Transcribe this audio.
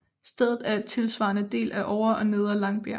Stedet er tilsvarende delt af Ovre og Nedre Langbjerg